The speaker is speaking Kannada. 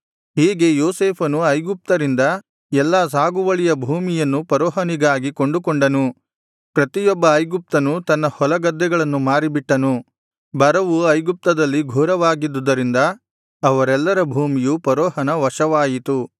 ಹೀಗೆ ಯೋಸೇಫನು ಐಗುಪ್ತರಿಂದ ಎಲ್ಲಾ ಸಾಗುವಳಿಯ ಭೂಮಿಯನ್ನು ಫರೋಹನಿಗಾಗಿ ಕೊಂಡುಕೊಂಡನು ಪ್ರತಿಯೊಬ್ಬ ಐಗುಪ್ತನ್ನು ತನ್ನ ಹೊಲಗದ್ದೆಗಳನ್ನು ಮಾರಿಬಿಟ್ಟನು ಬರವು ಐಗುಪ್ತದಲ್ಲಿ ಘೋರವಾಗಿದ್ದದರಿಂದ ಅವರೆಲ್ಲರ ಭೂಮಿಯು ಫರೋಹನ ವಶವಾಯಿತು